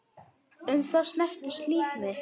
Um það snerist líf mitt.